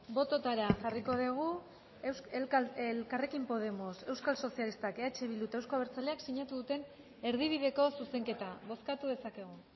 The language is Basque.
bototara jarriko dugu elkarrekin podemos euskal sozialistak eh bildu eta euzko abertzaleak sinatu duten erdibideko zuzenketa bozkatu dezakegu